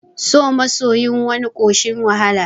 So masoyin wani ƙoshin wahala